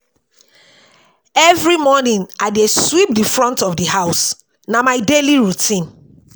Every morning, I dey sweep di front of di house, na my daily routine